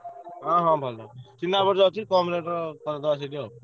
ହଁ ହଁ ଭଲ ଚିହ୍ନା ଅଛି କମ rate ରେ କରିଡବା ସେଇଠି ଆଉ।